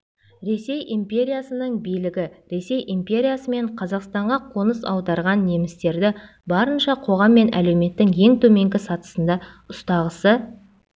ресей империясының билігі ресей империясы мен қазақстанға қоныс аударған немістерді барынша қоғам мен әлеуметтің ең төменгі сатысында ұстағысы